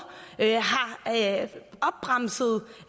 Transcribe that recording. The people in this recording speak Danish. har bremset